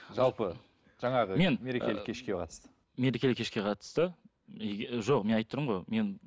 жалпы жаңағы мен мерекелік кешке қатысты мерекелік кешке қатысты жоқ мен айтып тұрмын ғой мен